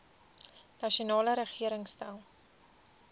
nasionale regering stel